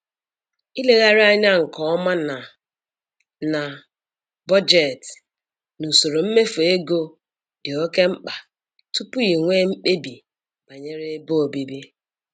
Ilegharị anya nke ọma na na bọjetị na usoro mmefu ego dị oke mkpa tupu i nwee mkpebi banyere ebe obibi